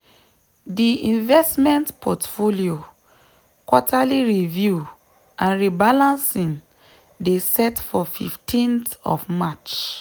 di investment portfolio quarterly review and rebalancing dey set for 15th of march.